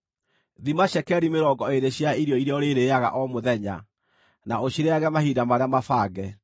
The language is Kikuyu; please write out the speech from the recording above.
Thima cekeri mĩrongo ĩĩrĩ cia irio iria ũrĩrĩĩaga o mũthenya na ũcirĩĩage mahinda marĩa mabange.